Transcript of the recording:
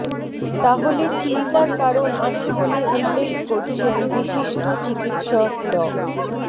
তাহলে চিন্তার কারণ আছে বলে উল্লেখ করছেন বিশিষ্ট চিকিৎসক ড